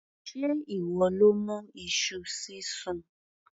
Sé ìwọ ló mú iṣu sísun?